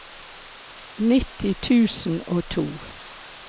nitti tusen og to